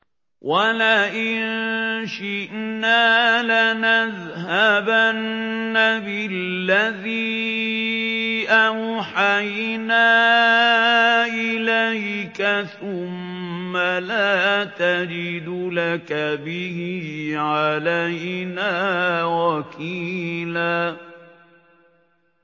وَلَئِن شِئْنَا لَنَذْهَبَنَّ بِالَّذِي أَوْحَيْنَا إِلَيْكَ ثُمَّ لَا تَجِدُ لَكَ بِهِ عَلَيْنَا وَكِيلًا